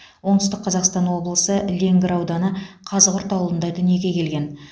оңтүстік қазақстан облысы леңгір ауданы қазығұрт ауылында дүниеге келген